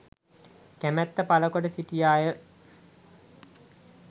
කැමැත්ත පළ කොට සිටියා ය.